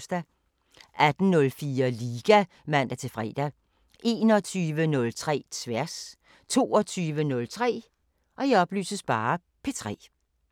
18:04: Liga (man-fre) 21:03: Tværs 22:03: P3